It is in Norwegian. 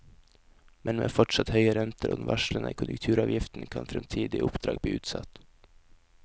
Men med fortsatt høye renter og den varslede konjunkturavgiften, kan fremtidige oppdrag bli utsatt.